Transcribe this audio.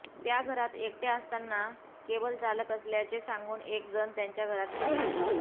त्या घरात एकटय़ा असताना केबलचालक असल्याचे सांगून एक जण त्यांच्या घरात शिरला